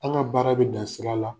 An' ŋa baara be dan sira la.